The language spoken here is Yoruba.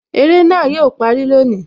Eré náà yo parí lónìí